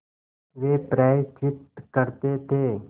वे प्रायश्चित करते थे